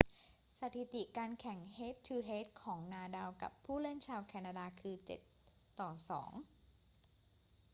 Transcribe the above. สถิติการแข่งเฮด-ทู-เฮดของนาดาลกับผู้เล่นชาวแคนาดาคือ 7-2